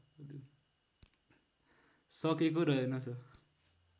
सकेको रहेनछ